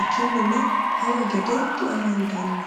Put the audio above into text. ikkininna hawa gede diamandanni.